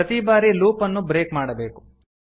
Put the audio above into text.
ಪ್ರತೀ ಬಾರಿ ಲೂಪ್ ಅನ್ನು ಬ್ರೇಕ್ ಮಾಡಬೇಕು